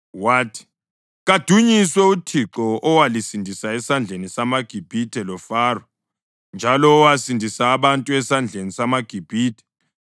Wathi, “Kadunyiswe uThixo owalisindisa esandleni samaGibhithe loFaro, njalo owasindisa abantu esandleni samaGibhithe.